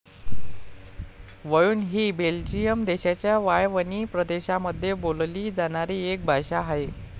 वळून हि बेल्जियम देशाच्या वाळवणी प्रदेशामध्ये बोलली जाणारी एक भाषा आहे.